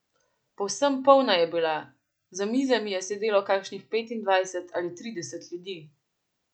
Povsem polna je bila, za mizami je sedelo kakšnih petindvajset ali trideset ljudi.